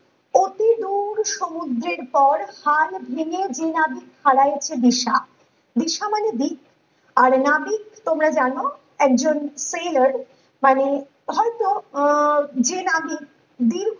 অতি দূর সমুদ্রের পর হাল ভেঙে যে নাবিক হারাইছে দিশা দিশা মানে দিক আর নাবিক তোমরা যেন একজন মানে হয়তো আহ যে নাবিক দিনভর